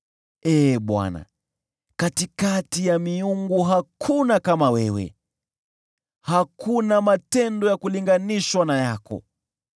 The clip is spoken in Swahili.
Ee Bwana , katikati ya miungu hakuna kama wewe, hakuna matendo ya kulinganishwa na yako.